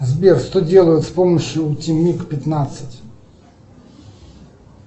сбер что делают с помощью утимиг пятнадцать